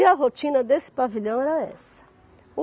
E a rotina desse pavilhão era essa.